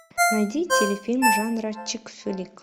найди телефильм жанра чик флик